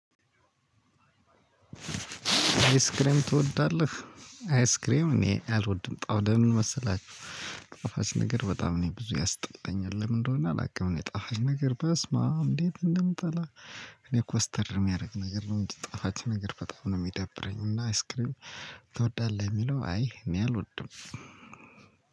አይስክሬም ትወዳለህ? አይስክሬም እኔ አልወድም ጣውደህ ለምን መሰላችሁ ጣፋች ነገር በጣም ነው ብዙ ያስጠላኛል ለምን እንደሆነ አላውቅም ነው ጣፋጭ ነገር በስማም እንዴት እንደምጠላ? እኔ ኮስተር ሚያረግ ነገር እንጂ ጣፋጭ በጣም ነው ሚደረኝ እና አይስክሬም ትወዳልሁ ለሚለው አይ እኔ አልወድም።